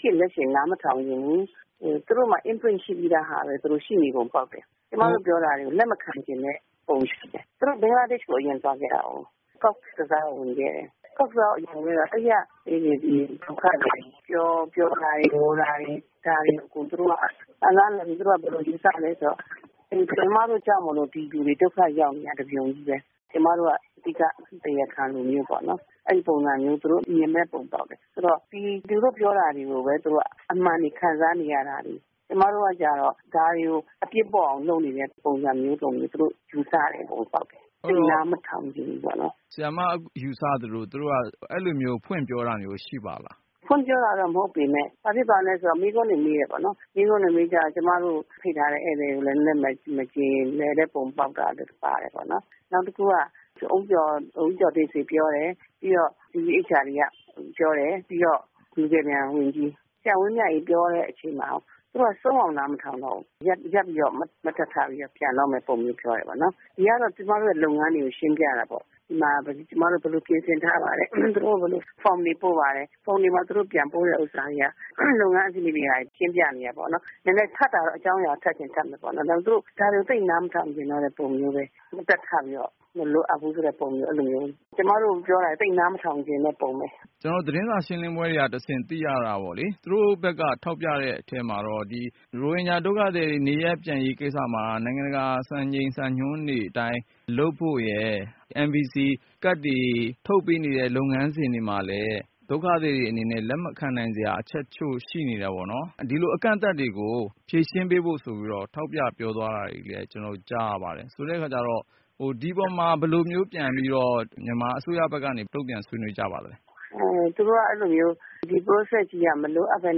ရှည်လက်ရှည်နားမထောင်ချင်ဘူး။ သူတို့မှာ Input ရှိပြီးသား ပုံပေါက်တယ်။ ကျမတို့ပြောတာတွေကို လက်မခံချင်တဲ့ ပုံတွေရှိတယ်။ သူတို့က ဘင်္ဂလားဒေ့ရှ်ကို အရင်သွားခဲ့တာကို cox's bazar ကိုအရင်ဝင်ခဲ့တယ်။ cox's bazar ကိုဝင်ခဲ့တော့ အဲဒီက ဒုက္ခသည်တွေ ပြောတာတွေ ငိုတာတွေကို သူတို့ ဘယ်လိုယူဆသလဲဆိုတော့ ကျမတို့ကြောင့် ဒီလူတွေ ဒုက္ခရောက်နေတာ တပြုံကြီးပဲ ။ ကျမတို့က အဓိက တရားခံတွေပေါ့နော်။ အဲဒီပုံစံမျိုး သူတို့ မြင်တဲ့ပုံပေါက်တယ်။ ဆိုတော့ သူတို့ပြောတာတွေပဲ အမှန်တွေခံစားနေရတာတွေ ကျမတို့က ဒါတွေကို အပြစ်ပေါ့အောင် လုပ်နေတဲ့ ပုံစံမျိုးလို့ သူတို့ ယူဆတဲ့ ပုံပေါက်တယ်။ နားမထောင်ချင်ဘူးပေါ့နော်။ ဆရာမယူဆသလို သူတို့ ဖွင့်ပြောတာမျိုးရှိပါသလား။ ဖွင့်ပြောတာမဟုတ်ပေမယ့် မေးခွန်းတွေမေးတယ်ပေါ့နော် ။ မေးခွန်းတွေမေးကြတော့ ကျမတို့ ဖိတ်ထားတဲ့ ဧည့်သည်တွေကိုလည်း နည်းနည်းမကျေလည်တဲ့ပုံပေါက်တယ်ပေါ့နော်။ နောက်တခုက ဦးကျော်တင့်ဆွေပြောတယ်၊ UEHRD က ပြောတယ် လူကယ်ပြန်ဝန်ကြီး ဆရာဝင်းမြတ်အေး ပြောတဲ့အချိန်မှာ သူတို့က ဆုံးအောင်နားမထောင်တော့ဘူး။ ရပ်ပြီးတော့ မတ်တပ်ထပြီးပြန်တော့မယ့်ပုံစံပြောတယ်။ ကျမတို့က လုပ်ငန်းတွေကို ရှင်းပြတာပေါ့နော် ဘယ်လိုပြင်ဆင်ထားပါတယ်၊ သူတို့ကို Form တွေဘယ်လိုပို့ပါတယ်။ form တွေမှာ သူတို့ ပြန်ပို့တာတွေက လုပ်ငန်းအဆင့်တွေကိုရှင်းပြနေတာပေါ့နော်။ ထပ်တာကတော့ အကြောင်းအရာ ထပ်ချင်ရင်ထပ်မယ် ။ ဒါပေမယ့် ဒါတွေကို သူတို့နားမထောင်ချင်တော့တဲ့ပုံစံမျိုးပဲ မတ်တပ်ထပြီးတော့ မလိုအပ်ဘူးဆိုတဲ့ ပုံစံမျိုး ။ ကျမတို့ ပြောတာတွေကို သိပ်နားမထောင်ချင်တဲ့ ပုံစံမျိုးပဲ။ ကျနော်တို့သတင်းစာရှင်းလင်းပွဲတွေကတဆင့် သိရတာပေါ့လေ သူတို့ဘက်က ထောက်ပြတာကတော့ ရိုဟင်ဂျာ ဒုက္ခသည်တွေ နေရပ်ပြန်ရေးကိစ္စမှာ နိုင်ငံတကာ စံချိန်စံညွန်းတွေအတိုင်း လုပ်ဖို့ nvc ကဒ်တွေထုတ်ပေးနေတဲ့ လုပ်ငန်းစဉ်တွေမှာလည်း ဒုက္ခသည်တွေအနေနဲ့ လက်မခံနိုင်စရာအချက်အချို့ရှိနေ တယ်ပေါ့နော်။ ဒီလိုအကန့်အသတ်တွေကို ဖြေရှင်းပေးဖို့ဆိုပြီးတော့ ထောက်ပြပြောသွားတာတွေလည်း ကျနေ်ာတို့ ကြားရပါတယ်။ ဆိုတော့ ဒီအပေါ်မှာ ဘယ်လိုမျိုး ပြန်ပြီးတော့ မြန်မာအစိုးရဘက်ကနေ တုံ့ပြန်ဆွေးနွေးကြပါသလဲ။ သူတို့ဘက်က အဲလိုမျိုး ဒီ process ကြီးက မလိုအပ်ပဲ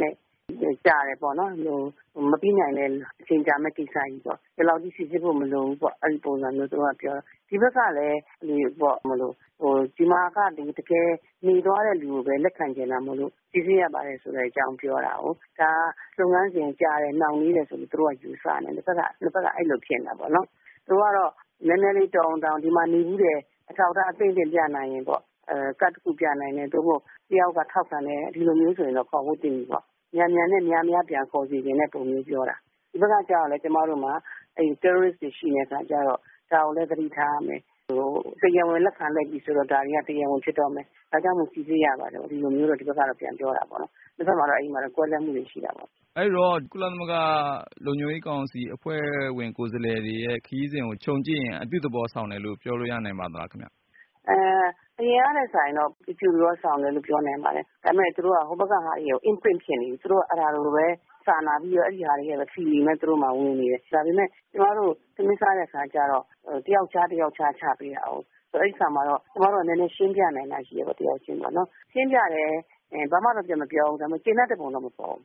နဲ့ ကြာတယ်ပေါ့နော်။ မပြီးနိုင်တဲ့ အချိန်ကြာမယ့်ကိစ္စကြီးပေါ့ ဒီလောက်ကြီးစိစစ်ဖို့ မလိုဘူးပေါ့ အဲဒီပုံစံမျိုး။ ဒီဘက်ကလည်း တကယ်နေသွားတဲ့လူကိုပဲ လက်ခံချင်တာမို့ စိစစ်ရမယ်ဆိုတဲ့အကြောင်းပြောတာကို ဒါကို လုပ်ငန်းစဉ်ကြာတယ် နှေးတယ်ဆိုပြီးတော့ ယူဆနေကြတယ် သူတို့ဘက်ကအဲလိုထင်တာပေါ့နော်။ ဒီမှာနေဖူးတယ် အထောက်အထား ပြနိုင်ရင်ပေါ့နော် ကဒ်တခုပြနိုင်တယ် တယောက်ယောက်က ထောက်ခံတယ်ဆိုရင် ခေါ်ဖို့သင့်ပြီပေါ့နော်။ မြန်မြန်နဲ့ များများ ပြန်ခေါ်စေချင်တဲ့ပုံမျိုးပြောတာ ။ ဒီဘက်ကလည်း ကျမတို့မှာ terrorist တွေရှိနေတဲ့အခါကျတော့ ဒါကိုလည်း သတိထားရမယ်။ တရားဝင်လက်ခံလိုက်ပြီဆိုတဲ့အခါကျတော့ ဒါတွေက တရားဝင်ဖြစ်တော့မယ်။ ဒါကြောင့်မို့ စိစစ်ရပါတယ်လို့ ဒီဘက်က ပြောတာပေါ့နော် တဖက်မှာတော့ အဲဒီလို ကွဲလွဲမှုတွေ ရှိတာပေါ့နော်။ အဲဒီတော့ ကုလသမဂ္ဂ လုံခြုံရေးကောင်စီအဖွဲ့ဝင် ကိုယ်စားလှယ်တွေရဲ့ ခရီးစဉ်ကို ခြုံကြည့်ရင်အပြုသဘောဆောင်တယ်လို့ ပြောလို့ရနိုင်ပါသလား။ အရင်ကထက်စာရင်တော့ အပြုသဘောဆောင်တယ်လို့ ပြောနိုင်ပါတယ်။ ဒါပေမယ့် သူတို့က ဟိုဘက်ကဟာတွေ သူတို့က အဲဒါတွေကိုပဲ စာနာပြီးတော့ အဲဒီ Feeling တွေလည်းသူတို့မှာ ဝင်နေပြီ ။ ဒါပေမယ့် ကျမတို့ကိုတော့ ထမင်းစားတဲ့အခါကျတော့ တယောက်ခြား တယောက်ခြားချပေးတာပေါ့ အဲဒီအခါမှာတော့ ကျမတို့ရှင်းပြနိုင်တာတွေရှိတာပေါ့နော်။ ရှင်းပြလည်း ဘာမှ ပြန်မပြောဘူး။ ဒါပေမယ့် ကျေနပ်တဲ့ပုံတော့မပေါ်ဘူး။